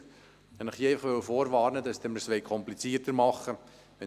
Und hier möchte ich Sie vorwarnen, dass Sie es mir so komplizierter machen würden.